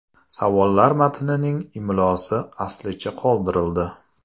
Savollar matnining imlosi aslicha qoldirildi.